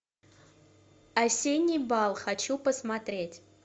осенний бал хочу посмотреть